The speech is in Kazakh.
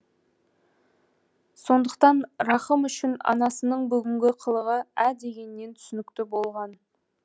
сондықтан рахым үшін анасының бүгінгі қылығы ә дегеннен түсінікті болған